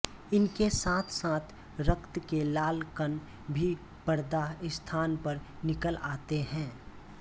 इनके साथ साथ रक्त के लाल कण भी प्रदाह स्थान पर निकल आते हैं